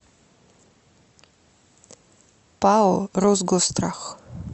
пао росгосстрах